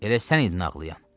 Elə sən idin ağlayan?